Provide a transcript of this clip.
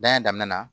a daminɛ na